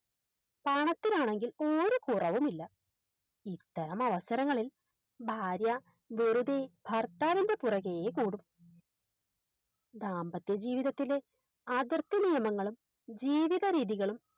പണത്തിനാണെങ്കിൽ ഒരു കുറവും ഇല്ല ഇത്തരം അവസരങ്ങളിൽ ഭാര്യ വെറുതെ ഭർത്താവിൻറെ പുറകെ കൂടും ദാമ്പത്യ ജീവിതത്തിലെ അതിർത്ഥിനിയമങ്ങളും ജീവിത രീതികളും